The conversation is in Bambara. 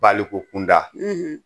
Baliku kunda